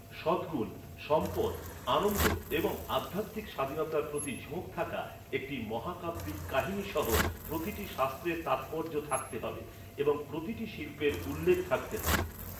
সদ্গুণ, সম্পদ, আনন্দ এবং আধ্যাত্মিক স্বাধীনতার প্রতি ঝোঁক থাকা একটি মহাকাব্যিক কাহিনী সহ প্রতিটি শাস্ত্রের তাৎপর্য থাকতে হবে এবং প্রতিটি শিল্পের উল্লেখ থাকতে হবে।